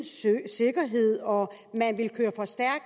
sikkerhed og